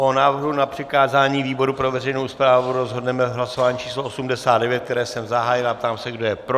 O návrhu na přikázání výboru pro veřejnou správu rozhodneme v hlasování číslo 89, které jsem zahájil, a ptám se, kdo je pro.